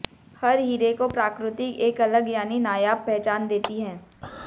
हर हीरे को प्रकृति एक अलग यानी नायाब पहचान देती है